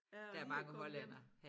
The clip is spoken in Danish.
Jeg er lige kommet hjem